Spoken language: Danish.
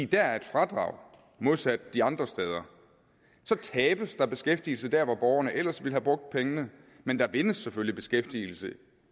dér er et fradrag modsat de andre steder så tabes der beskæftigelse der hvor borgerne ellers ville have brugt pengene men der vindes selvfølgelig beskæftigelse